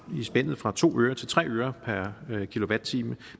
spændet fra to øre til tre øre per kilowatt time